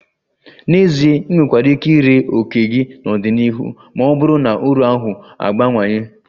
N'ezie, ị nwekwara ike ree òkè gị n'ọdịnihu ma ọ bụrụ na uru ahụ abawanye